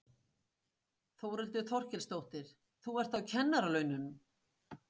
Þórhildur Þorkelsdóttir: Þú ert á kennaralaunum?